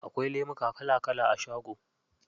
Akwai lemuka kala kala a shago.